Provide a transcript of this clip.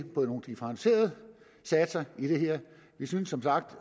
på nogle differentierede satser i det her vi synes som sagt at